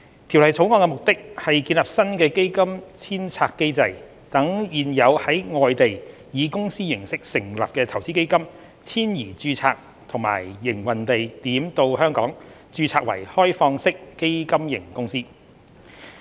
《條例草案》的目的，是建立新的基金遷冊機制，讓現有在外地以公司形式成立的投資基金遷移註冊及營運地點到香港，註冊為開放式基金型公司。